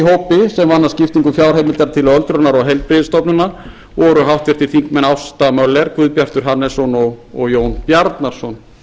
skiptingu fjárheimildar til öldrunar og heilbrigðisstofnana voru háttvirtur þingmaður ásta möller guðbjartur hannesson og jón bjarnason